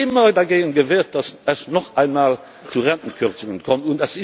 Ich habe mich immer dagegen gewehrt, dass es noch einmal zu Rentenkürzungen kommt.